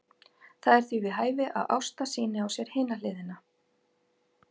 Það er því við hæfi að Ásta sýni á sér hina hliðina.